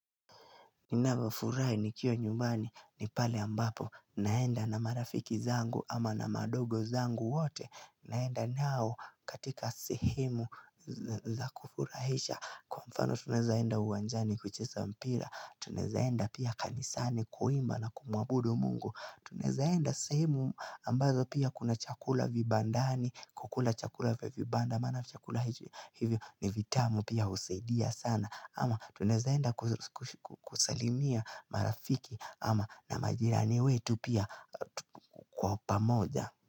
Ninafurahi nikiwa nyumbani ni pale ambapo naenda na marafiki zangu ama na madogo zangu wote naenda nao katika sehemu za kufurahisha kwa mfano tuneza enda uwanjani kucheza mpira tuneza enda pia kanisani kuimba na kumuabudu mungu tunezaenda sehemu ambazo pia kuna chakula vibandani kukula chakula vya vibanda maana chakula hivyo ni vitamu pia husaidia sana ama tunezaenda kusalimia marafiki ama na majirani wetu pia kwa pamoja.